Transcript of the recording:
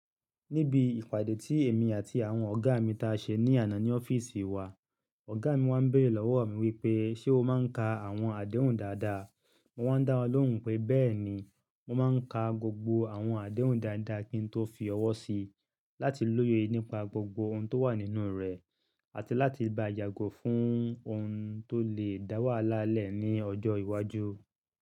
Níbi ìpàdé tí èmi àti àwọn ọ̀gá mi ta ṣe ní àná ní ọ́fíìsì wa, ọ̀gá mi wá ń béèrè lọ́wọ́ mi wípé: "Ṣé o máa ń ka àwọn àdéhùn dáadáa?" Mo wá ń dáwọ́n lóhùn pé "béẹ̀ni, mo máa ń ka gbogbo àwọn àdéhùn dáadáa kí n tó fi ọwọ́ sí i láti lóye nípa gbogbo ohun tó wà nínú rẹ̀, àti láti ba jagun fún ohun tó lè dáwà lálẹ̀ ní ọjọ́ iwájú."